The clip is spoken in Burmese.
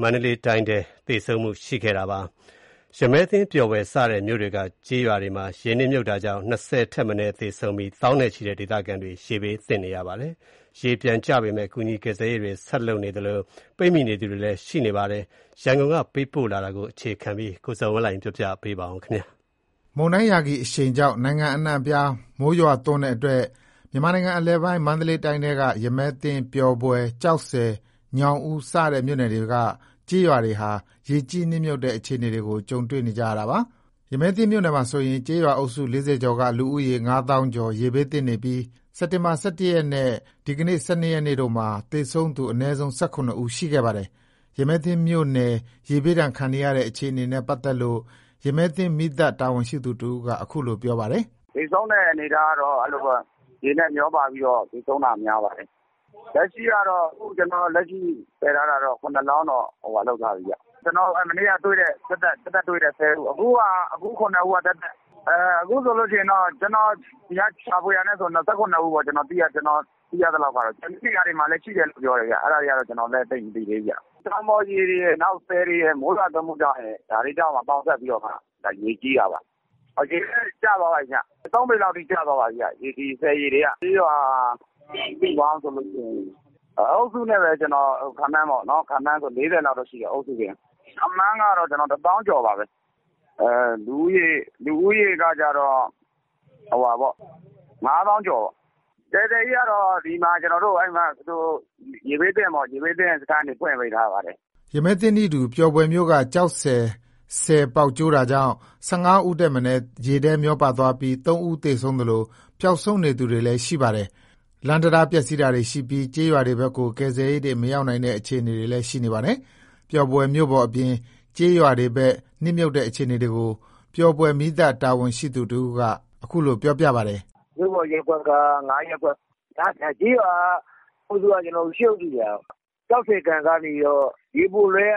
မန္တလေးတိုင်း၊ ရမည်းသင်း ပျော်ဘွယ် စတဲ့မြို့တွေက ကျေးရွာတွေမှာ ရေနစ်မြှုပ်တာကြောင့် ၂၀ ဦးထက်မနည်းသေဆုံးပြီး သောင်းနဲ့ချီတဲ့ ဒေသခံတွေ ရေဘေးသင့်နေပါတယ်။ ရေပြန်ကျနေပေမယ့် ကူညီကယ်ဆယ်ရေးတွေ ဆက်လုပ်နေသလို ပိတ်မိနေသူတွေလည်း ရှိနေပါတယ်။ ဒီအကြောင်း ရန်ကုန်ကပေးပို့တဲ့သတင်းကို တင်ပြပါမယ်။ မုန်တိုင်း ယာဂီအရှိန်ကြောင့် နိုင်ငံအနှံ့အပြား မိုးရွားသွန်းတဲ့အတွက် မြန်မာနိုင်ငံအလယ်ပိုင်း မန္တလေးတိုင်းထဲက ရမည်းသင်း ၊ ပျော်ဘွယ် ၊ ကျောက်ဆည် ၊ ညောင်ဦး စတဲ့ မြို့နယ်တွေက ကျေးရွာတွေဟာ ရေကြီးနစ်မြှုပ်တဲ့ အခြေအနေကို ကြုံတွေ့နေရတာပါ။ ရမည်းသင်းမြို့နယ်မှာဆိုရင် ကျေးရွာအုပ်စု ၄၀ ကျော်က လူဦးရေ ၅ သောင်းကျော် ရေဘေးသင့်နေပြီး စက်တင်ဘာ ၁၁ ရက်နဲ့ ၁၂ ရက်တို့မှာ သေဆုံးသူ အနည်းဆုံး ၁၇ ဦး ရှိခဲ့ပါတယ်။ ရမည်းသင်းမြို့နယ် ရေဘေးဒဏ်ခံနေရတဲ့ အခြေအနေနဲ့ ပတ်သက်လို့ ရမည်းသင်းမီးသတ် တာဝန်ရှိသူတဦးက အခုလိုပြောပါတယ်။ "သေဆုံးတဲ့အနေအထားက ရေနဲ့မျောပြီး သေဆုံးတာများတယ်။ လက်ရှိသေဆုံးတာတော့ ၇ လောင်း ဆယ်ထားတယ်။ ကျွန်တော် မနေ့ကတွေ့တာက ၁၀ ဦး အခု ၇ ဦးက သက်သက်။ အခုဆို ကျွန်တော်ရှာဖွေထားတာနဲ့ဆို ၁၇ ဦး။ ကျွန်တော်သိရသလောက် ကျန်တဲ့နေရာတွေမှာလည်း ရှိတယ်လို့ပြောတယ်။ အဲ့ဒါတွေကလည်း ကျွန်တော် မသိသေးဘူး။ တောင်ပေါ်ရေတွေရယ်၊ ဆည်ရေတွေရယ်၊ မိုးရေရယ် ဒါတွေပေါင်းစပ်ပြီး ရေကြီးတာပါ။ အခုတော့ ရေကျသွားပါပြီ။ ၃ ပေလောက်အထိတော့ ရေကျသွားပါပြီ၊ ဆည်ရေတွေက။ ကျေးရွာပေါင်းဆိုရင် အုပ်စုနဲ့ပဲ ခန့်မှန်းဆိုရင် ၄၀ လောက်ရှိတယ်။ ခန့်မှန်းဆိုရင် ၁ သောင်းကျော်ပါပဲ။ လူဦးရေကတော့ ၅ သောင်းကျော်။ ကယ်ဆယ်ရေးကတော့ ဒီမှာ ရေဘေးသင့်စခန်းတွေ ဖွင့်ထားပါတယ်။" ရမည်းသင်းနည်းတူ ပျော်ဘွယ်မြို့က ကျောက်ဆည် ဆည်ကျိုးပေါက်တာကြောင့် ၁၅ ဦးထက် မနည်း ရေထဲမျောပါသွားပြီး ၃ ဦးသေဆုံးသလို ပျောက်ဆုံးနေသူတွေလည်း ရှိနေပါတယ်။ လမ်းတံတား ပျက်စီးတာတွေရှိပြီး ကျေးရွာတွေဘက်ကို ကယ်ဆယ်ရေးတွေ မရောက်နိုင်တဲ့ အခြေအနေတွေလည်း ရှိနေပါတယ်။ ပျော်ဘွယ်မြို့ပေါ်အပြင် ကျေးရွာတွေဘက် နစ်မြှုပ်တဲ့အခြေအနေကို ပျော်ဘွယ်မီးသတ် တာဝန်ရှိသူ ပြောတာက အခုလို ပြောပြပါတယ်။ "မြို့ပေါ်ရပ်ကွက်က ၅ ရပ်ကွက်၊ ကျေးရွာ အုပ်စုက ၈ အုပ်စု၊ ကျောက်ဆည်ကန်က ရေပိုလွှဲက